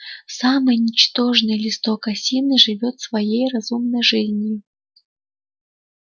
самый ничтожный листок осины живёт своей разумной жизнью